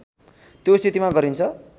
त्यो स्थितिमा गरिन्छ